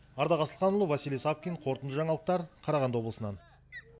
ардақ асылханұлы василий савкин қорытынды жаңалықтар қарағанды облысынан